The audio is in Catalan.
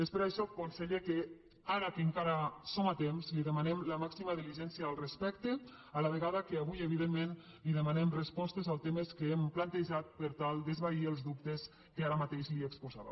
és per això conseller que ara que encara hi som a temps li demanem la màxima diligència al respecte a la vegada que avui evidentment li demanem respostes als temes que hem plantejat per tal d’esvair els dubtes que ara mateix li exposava